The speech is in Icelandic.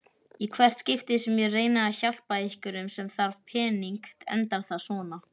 Í hvert skipti sem ég reyni að hjálpa einhverjum sem þarf pening endar það svona.